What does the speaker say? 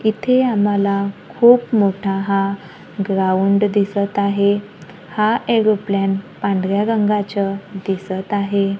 इथे आम्हाला खूप मोठा हा ग्राउंड दिसत आहे हा एरोप्लेन पांढऱ्या रंगाचं दिसत आहे.